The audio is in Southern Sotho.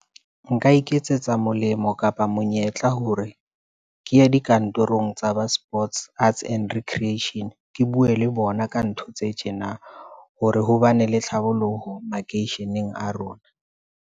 Nka iketsetsa molemo kapa monyetla hore ke ye dikantorong tsa ba sports arts and recreation. Ke bue le bona ka ntho tse tjena. Hore ho bane le tlhabollo poho makeisheneng a rona.